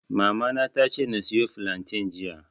Mamana ta ce na soya filantain jiya